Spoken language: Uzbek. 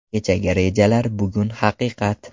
Kechagi rejalar bugun haqiqat.